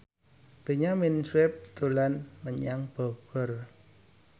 Benyamin Sueb dolan menyang Bogor